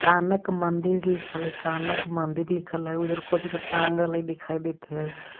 कानक मंदिर लिखल है कानक मंदिर लिखल है उधर कुछ तो टांगल है दिखाई देत है.